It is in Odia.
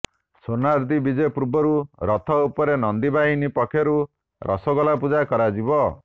ସ୍ୱର୍ଣ୍ଣାଦ୍ରୀ ବିଜେ ପୂର୍ବରୁ ରଥ ଉପରେ ନନ୍ଦୀ ବାହିନୀ ପକ୍ଷରୁ ରସଗୋଲା ପୂଜା କରାଯିବ